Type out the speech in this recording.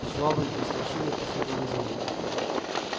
швабрин и старшины последовали за ним